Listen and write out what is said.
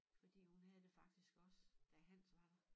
Fordi hun havde det faktisk også da Hans var der